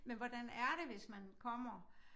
Men hvordan er det hvis man kommer